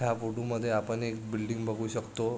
ह्या फोटो मध्ये आपण एक बिल्डिंग बगु शकतो.